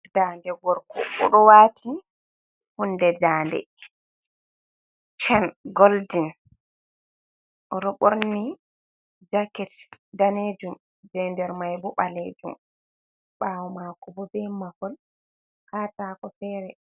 Dande gorko, o ɗo wati hunde dande, chen goldin. O ɗo ɓorni jaket danejum jei nder mai bo ɓaleejum, ɓaawo mako bo be mahol katako fere.